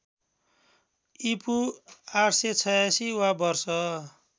ईपू ८८६ वा वर्ष